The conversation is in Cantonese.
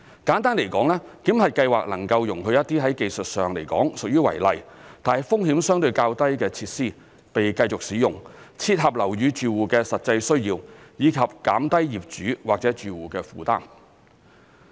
簡單來說，檢核計劃能夠容許一些在技術上來說屬於違例，但風險相對較低的設施被繼續使用，切合樓宇住戶的實際需要，以及減低業主或住戶的負擔。